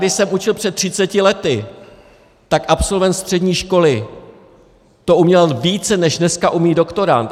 Když jsem učil před 30 lety, tak absolvent střední školy toho uměl více, než dneska umí doktorand.